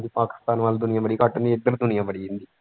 ਪਾਕਿਸਤਾਨ ਵੱਲ ਦੁਨੀਆਂ ਬੜੀ ਘੱਟ ਹੁੰਦੀ ਇੱਧਰ ਦੁਨੀਆਂ ਬੜੀ ਹੁੰਦੀ।